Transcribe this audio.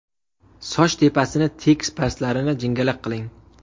Soch tepasini tekis pastlarini jingalak qiling.